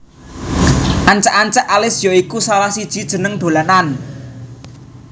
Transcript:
Ancak ancak Alis ya iku salah siji jeneng dolanan